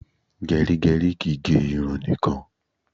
Gerigeri kìí gè irun nìkan